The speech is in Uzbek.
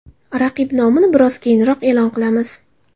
Raqib nomini biroz keyinroq e’lon qilamiz.